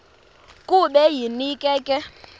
kube yinkinge ke